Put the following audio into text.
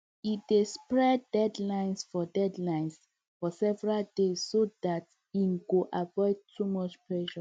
e dey spread deadlines for deadlines for several days so dat e go avoid too much pressure